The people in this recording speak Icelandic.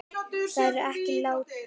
Það er ekki lítið.